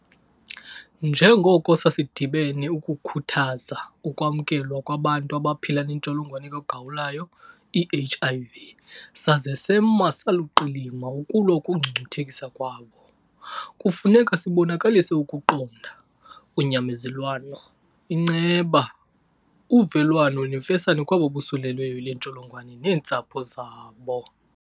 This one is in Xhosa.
Njengoko sasidibene ukukhuthaza ukwamkelwa kwabantu abaphila neNtsholongwane kaGawulayo, i-HIV, saze sema saluqilima ukulwa ukungcungcuthekiswa kwabo, kufuneka sibonakalise ukuqonda, unyamezelwano, inceba, uvelwano nemfesane kwabo bosulelweyo yile ntsholongwane neentsapho zabo.